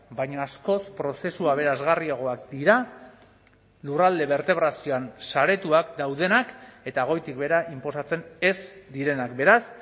baina askoz prozesu aberasgarriagoak dira lurralde bertebrazioan saretuak daudenak eta goitik behera inposatzen ez direnak beraz